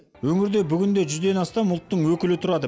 өңірде бүгінде жүзден астам ұлттың өкілі тұрады